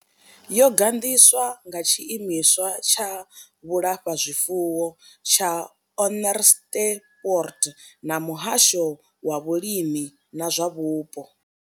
Yo gandiswa nga tshiimiswa tsha vhulafhazwifuwo tsha Onderstepoort na muhasho wa vhulimi na zwa vhupo.